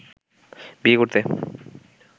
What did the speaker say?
বিয়ে করতে